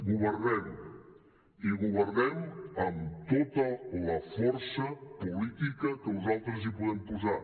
governem i governem amb tota la força política que nosaltres hi podem posar